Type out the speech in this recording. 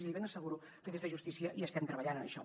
i li ben asseguro que des de justícia hi estem treballant en això